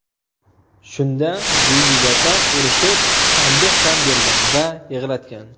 Shunda Yulduz opa urishib, tanbeh ham bergan va yig‘latgan.